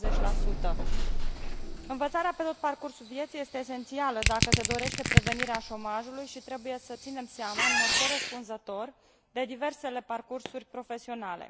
40 Învățarea pe tot parcursul vieții este esențială, dacă se dorește prevenirea șomajului, și trebuie să ținem seama în mod corespunzător de diversele parcursuri profesionale.